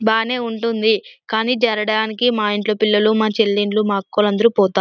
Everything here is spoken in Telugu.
బానే ఉంటుంది. కానీ జాలడునికి మా ఇంట్లో పిల్లలు మా చెలిండ్లు మా అక్కవోలు అందరూ పోత--